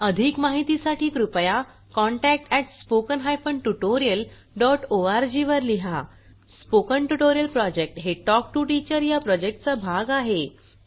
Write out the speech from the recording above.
अधिक माहितीसाठी कृपया contact at spoken hyphen tutorial dot O R G वर लिहा स्पोकन ट्युटोरियल प्रॉजेक्ट हे टॉक टू टीचर या प्रॉजेक्टचा भाग आहे